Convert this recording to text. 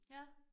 Ja